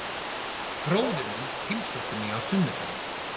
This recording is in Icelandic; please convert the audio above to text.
Bróðir minn heimsótti mig á sunnudaginn.